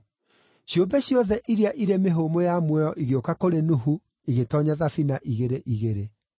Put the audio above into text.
Ciũmbe ciothe iria irĩ mĩhũmũ ya muoyo igĩũka kũrĩ Nuhu igĩtoonya thabina igĩrĩ igĩrĩ.